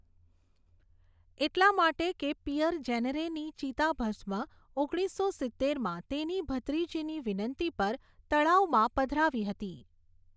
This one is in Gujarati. એટલા માટે કે પિયર જેનરેની ચિતાભસ્મ ઓગણીસો સિત્તેરમાં તેની ભત્રીજીની વિનંતી પર તળાવમાં પધરાવી હતી.